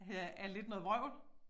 Ja er lidt noget vrøvl